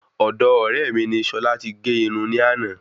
Ọ̀do ọ̀ré mi ni sola ti gé Irun ní àná